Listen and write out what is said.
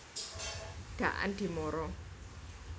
Daan Dimara